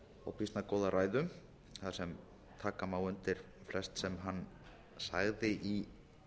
og býsna góða ræðu þar sem taka má undir flest sem hann sagði í